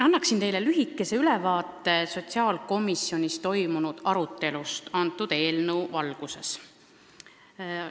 Annan teile lühikese ülevaate sotsiaalkomisjonis toimunud arutelust selle eelnõu üle.